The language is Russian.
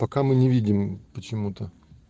пока мы не видим почему-то